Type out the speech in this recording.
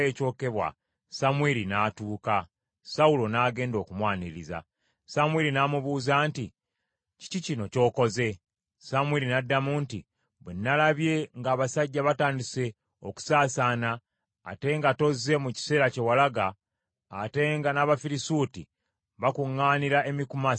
Samwiri n’amubuuza nti, “Kiki kino ky’okoze?” Sawulo n’addamu nti, “Bwe nnalabye ng’abasajja batandise okusaasaana, ate nga tozze mu kiseera kye walaga, ate nga n’Abafirisuuti bakuŋŋaanira e Mikumasi,